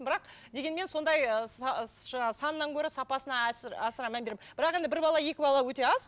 бірақ дегенмен сондай ы жаңа санынан көрі сапасына асыра мән беремін бірақ енді бір бала екі бала өте аз